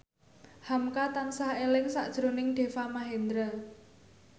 hamka tansah eling sakjroning Deva Mahendra